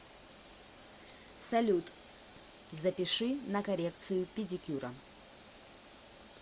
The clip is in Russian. салют запиши на коррекцию педикюра